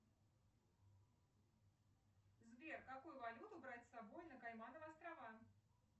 сбер какую валюту брать с собой на каймановы острова